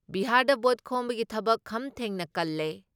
ꯕꯤꯍꯥꯔꯗ vote ꯈꯣꯝꯕꯒꯤ ꯊꯕꯛ ꯈꯝ ꯊꯦꯡꯅ ꯀꯜꯂꯦ ꯫